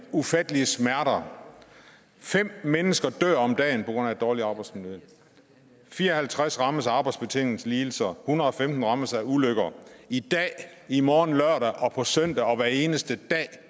ufattelige smerter fem mennesker dør om dagen på grund af et dårligt arbejdsmiljø fire og halvtreds rammes af arbejdsbetingede lidelser hundrede og femten rammes af ulykker i dag i morgen lørdag og på søndag og hver eneste dag